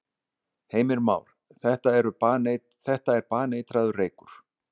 Heimir Már: Þetta er baneitraður reykur?